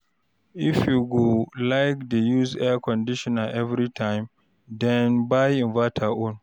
if you go like dey use air conditioner evritime den buy inverter own